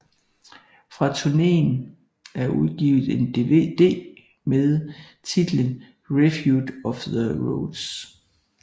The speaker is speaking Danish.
Fra turneen er udgivet en dvd med titlen Refuge of the Roads